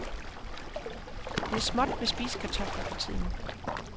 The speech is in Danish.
Det er småt med spisekartofler for tiden.